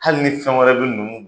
Hali ni fɛn wɛrɛ be nunnu